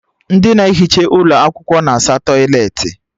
Ndị na-ehicha ụlọ akwụkwọ na asa tọịletị